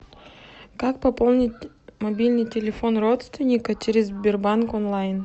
как пополнить мобильный телефон родственника через сбербанк онлайн